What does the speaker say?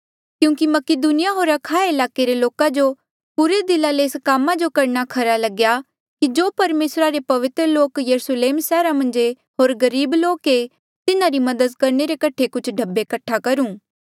क्यूंकि मकीदुनिया होर अखाया ईलाके रे लोका जो पुरे दिला ले एस कामा जो करणा खरा लग्या कि जो परमेसरा रे पवित्र लोक यरुस्लेम सैहरा मन्झ ऐे होर गरीब लोक ऐे तिन्हारी मदद करणे रे कठे कुछ ढब्बे कठ्ठा करूं